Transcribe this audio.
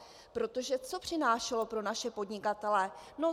Protože co přinášelo pro naše podnikatele.